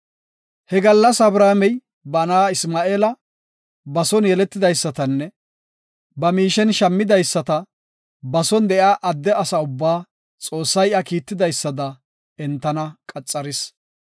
He gallas Abrahaamey ba na7a Isma7eela, ba son yeletidaysatanne ba miishen shammidaysata, ba son de7iya adde asa ubba Xoossay iya kiitidaysada qaxaris